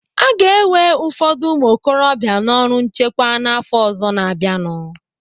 Aga ewe ụfọdụ ụmụokorobịa n'ọrụ nchekwa n'afọ ọzọ na-abịanụ.